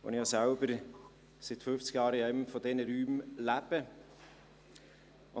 Ich selbst lebe seit fünfzig Jahren in einem dieser Räume.